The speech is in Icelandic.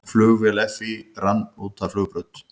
Flugvél FÍ rann út af flugbraut